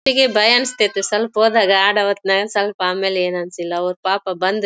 ಭಯ ಅನ್ನಸ್ತಿತು ಸ್ವಲ್ಪ ಹೋದಾಗ ಆಡುವತ್ನಗ ಸ್ವಲ್ಪ ಆಮೇಲೆ ಏನು ಅನ್ನಸಿಲ್ಲಾ ಅವ್ರು ಪಾಪ್ ಬಂದ್ರು .